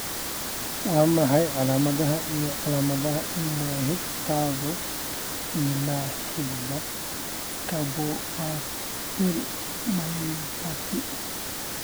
Waa maxay calaamadaha iyo calaamadaha MYH tadhawo ee la xidhiidha scapupoperoneal myopathy?